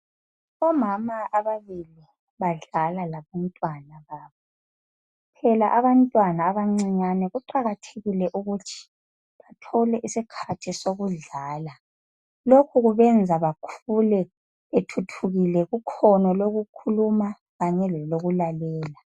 Omama ababili badlala labantwana babo phela abantwana abancinyane kuqakathekile ukuthi bathole isikhathi sokudlala lokhu kubenza bakhule bethuthukile kukhono lokukhuluma kanye leloku lalela.